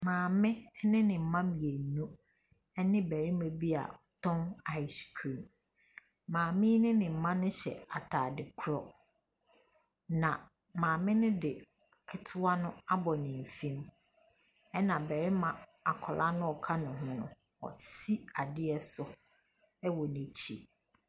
Maame ɛne ne mma mmienu ɛne barima bi a ɔtɔn ice cream. Maame yi ɛne ne mma yi ɛhyɛ ataade korɔ. Na maame no de ketewa no abɔ ne mfin mu . Ɛna barima akwadaa noa ɔka ne ho no wosi adeɛ so ɛwɔ n'akyi.